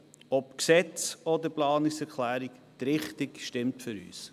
Ob Gesetz oder Planungserklärung, die Richtung stimmt für uns.